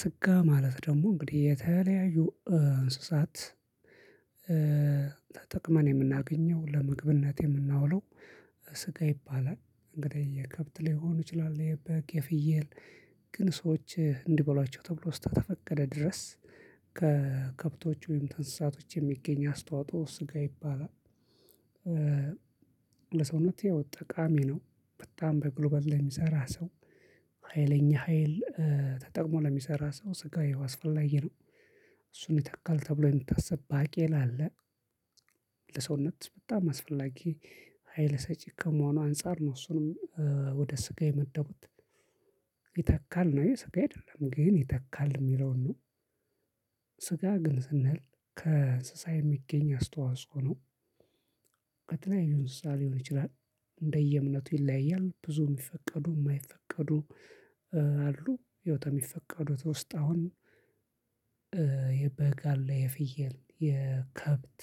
ስጋ ማለት ደግሞ እንግዲህ የተለያዩ እንስሳት ተጠቅመን የምናገኘው ለምግብነት የምናውለው ስጋ ይባላል እንግዲህ የከብት ላይሆን ይችላል የበግ የፍየል ግን ሰዎች እንዲበሏቸው ተብሎ እስከፈቀደ ድረስ ከከብቶች ወይም ከእንስሳቶች የሚገኝ አስተዋጽኦ ስጋ ይባላል። ለሰውነት ያው ጠቃሚ ነው በጣም በጉልበት ላይ የሚሰራ ሰው ሀይለኛ ሀይል ተጠቅሞ ለሚሰራ ሰው ስጋ ይሄው አስፈላጊ ነው። እሱን ይተካል ተብሎ የሚታስብ ባቄላ አለ። ለሰውነት በጣም አስፈላጊ ሀይል ሰጪ ከመሆኑ አንፃር ነው እሱንም ወደ ስጋ የመደቡት። ይተካል ነው የስጋ አይደለም ግን ይተካል የሚለውን ነው። ስጋ ግን ስንል ከእንስሳ የሚገኝ አስተዋጽኦ ነው። ከተለያዩ እንስሳ ሊሆን ይችላል። እንደየእምነቱ ይለያያል ብዙ የሚፈቀዱ የማይፈቀዱ አሉ። ያው ከሚፈቀዱት ውስጥ አሁን የበግ አለ የፍየል የከብት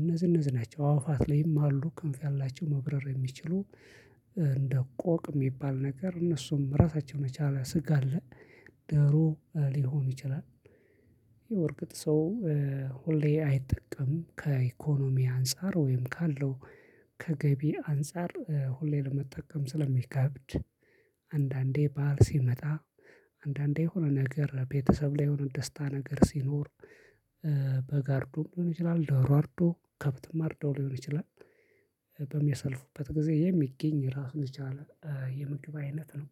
እነዚህ እነዚህ ናቸው አዕዋፋት ላይም አሉ ክንፍ ያላቸው መብረር የሚችሉ እንደ ቆቅ የሚባል ነገር እነሱም ራሳቸውን የቻለ ስጋ አለ። ዶሮ ሊሆን ይችላል። ያው በእርግጥ ሰው ሁሌ አይጠቀምም ከኢኮኖሚ አንፃር ወይም ካለው ከገቢ አንፃር ሁሌ ለመጠቀም ስለሚከብድ። አንዳንዴ በዓል ሲመጣ አንዳንዴ የሆነ ነገር ቤተሰብ ላይ የሆነ ደስታ ነገር ሲኖር። በግ አርዶም ሊሆን ይችላል ዶሮ አርዶ ከብትም አርዶ ሊሆን ይችላል። በሚያሳልፉበት ጊዜ የሚገኝ ራሱን የቻለ የምግብ አይነት ነው።